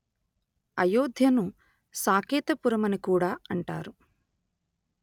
అయోధ్యను సాకేతపురమని కూడా అంటారు